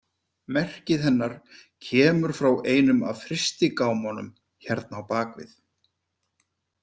Merkið hennar kemur frá einum af frystigámunum hérna á bak við.